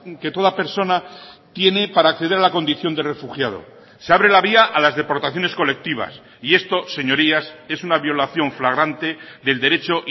que toda persona tiene para acceder a la condición de refugiado se abre la vía a las deportaciones colectivas y esto señorías es una violación flagrante del derecho